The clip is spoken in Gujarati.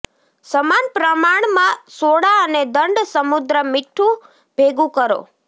સમાન પ્રમાણમાં સોડા અને દંડ સમુદ્ર મીઠું ભેગું કરો